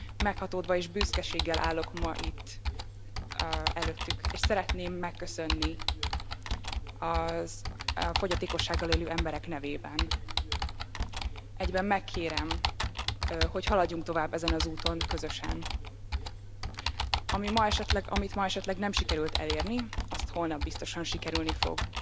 Meghatódva és büszkeséggel állok ma itt előttük, és szeretném megköszönni a fogyatékossággal élő emberek nevében, egyben megkérem, hogy haladjunk tovább ezen az úton közösen, amit ma esetleg nem sikerült elérni, azt holnap biztosan sikerülni fog.